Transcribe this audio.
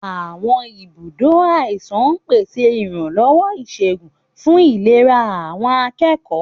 Àwọn ibùdó àìsàn ń pèsè ìrànlọ́wọ́ ìṣègùn fún ìlera àwọn akẹ́kọ̀ọ́.